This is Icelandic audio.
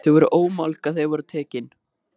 Þau voru ómálga þegar þau voru tekin.